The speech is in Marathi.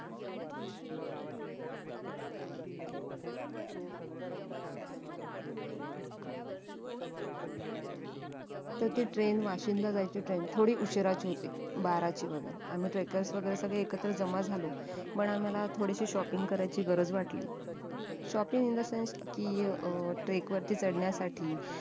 तर ती train वाशिंदला जायची train थोडी उशिराची होती बाराची वैगेरे आम्ही trackers वैगेरे सगळे एकत्र जमा झालो पण आम्हाला थोडीशी shopping करायची गरज वाटली shopping in the sense कि अं trek वरती चडण्यासाटी